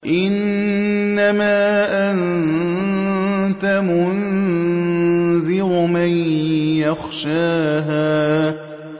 إِنَّمَا أَنتَ مُنذِرُ مَن يَخْشَاهَا